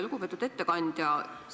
Lugupeetud ettekandja!